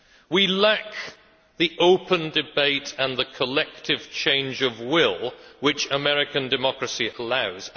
We lack the open debate and the collective change of will which American democracy allows.